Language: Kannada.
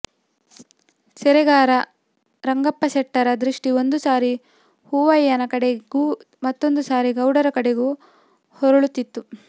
ಸೇರೆಗಾರ ರಂಗಪ್ಪಸೆಟ್ಟರ ದೃಷ್ಟಿ ಒಂದು ಸಾರಿ ಹೂವಯ್ಯನ ಕಡೆಗೂ ಮತ್ತೊಂದು ಸಾರಿ ಗೌಡರ ಕಡೆಗೂ ಹೊರಳುತ್ತಿತ್ತು